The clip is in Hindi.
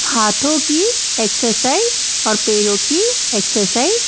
हाथों की एक्सरसाइज और पैरों की एक्सरसाइज --